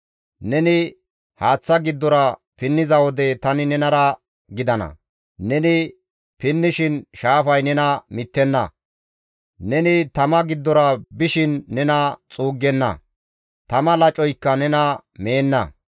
Neni haaththa giddora pinniza wode, tani nenara gidana. Neni pinnishin shaafay nena mittenna; neni tama giddora bishin nena xuuggenna; tama lacoykka nena meenna.